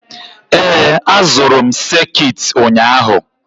Ee, azụrụ m sekit ụnyaahụ.